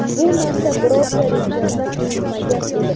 bu narsa birorta "region"da qilinmagan edi.